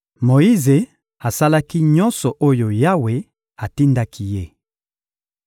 Moyize asalaki nyonso oyo Yawe atindaki ye.